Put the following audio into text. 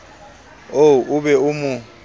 oo o be o mo